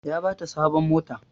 Ya bata sabon mota